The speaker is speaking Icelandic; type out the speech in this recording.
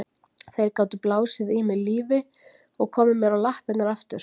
Þeir gátu blásið í mig lífi og komið mér á lappirnar aftur.